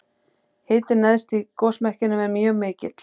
hitinn neðst í gosmekkinum er mjög mikill